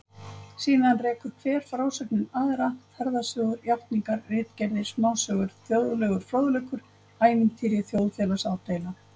Síðan rekur hver frásögnin aðra, ferðasögur, játningar, ritgerðir, smásögur, þjóðlegur fróðleikur, ævintýri, þjóðfélagsádeila